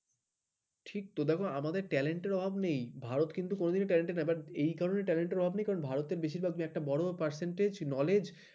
ঠিক তো দেখো আমাদের talent র অভাব নেই ভারত কিন্তু কোনদিনই talent ড অভাব নেই এই কারণেই অভাব নেই বেশিরভাগ তুমি একটা বড় percentage knowledge